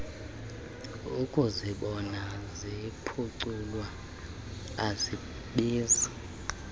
ukuzibona ziphuculwa azibizi